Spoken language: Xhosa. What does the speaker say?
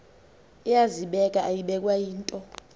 iyazibeka ayibekwa yinto